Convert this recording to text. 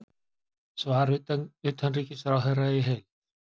Svar utanríkisráðherra í heild